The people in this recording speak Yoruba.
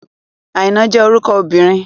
Àìná jẹ́ orúkọ obìnrin.